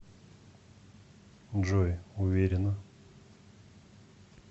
джой уверена